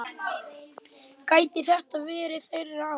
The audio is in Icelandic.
Gæti þetta verið þeirra ár?